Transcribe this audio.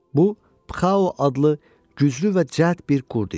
Bu pxao adlı güclü və cəld bir qurd idi.